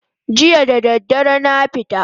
Jiya da dare na fita